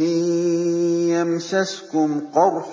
إِن يَمْسَسْكُمْ قَرْحٌ